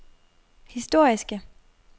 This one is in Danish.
historiske